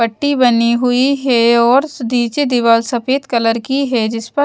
पट्टी बनी हुई है और नीचे दीवाल सफेद कलर की है जिस पर--